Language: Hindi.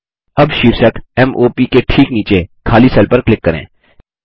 अब शीर्षक m o प के ठीक नीचे खाली सेल पर क्लिक करें